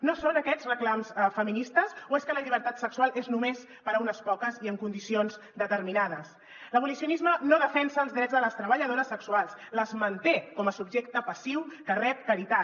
no són aquests reclams feministes o és que la llibertat sexual és només per a unes poques i en condicions determinades l’abolicionisme no defensa els drets de les treballadores sexuals les manté com a subjecte passiu que rep caritat